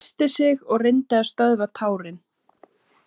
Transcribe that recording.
Hún ræskti sig og reyndi að stöðva tárin.